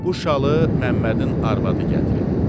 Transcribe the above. Bu şalı Məmmədin arvadı gətirib.